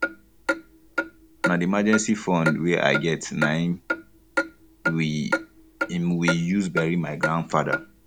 na the emergency fund wey i get na um im we um im we use bury my grandfather